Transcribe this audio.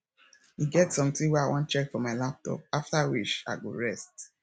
e get something wey i wan check for my laptop after which i go rest